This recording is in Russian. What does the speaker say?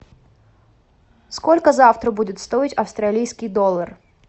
сколько завтра будет стоить австралийский доллар